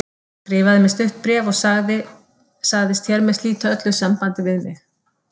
Hann skrifaði mér stutt bréf og sagðist hér með slíta öllu sambandi við mig.